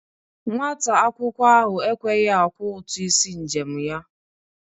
Nwata akwụkwọ ahụ ekweghi akwọ ụtụ isi njem ya.